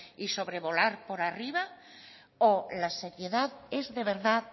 y sobrevolar por arriba o la seriedad es de verdad